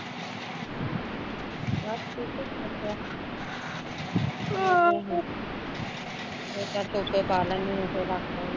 ਬਸ ਠੀਕ ਐ ਹੋਰ ਕਿਆ ਮੱਝਾਂ ਚੋ ਕੇ ਪਾ ਲੈਂਦੀ ਆ ਥੋੜਾ